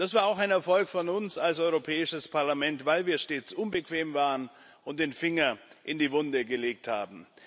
Das war auch ein Erfolg von uns als Europäischem Parlament, weil wir stets unbequem waren und den Finger in die Wunde gelegt haben.